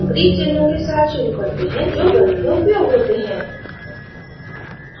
हम greek चिन्हों के साथ शुरू करते हैं जो गणित में उपयोग होते हैं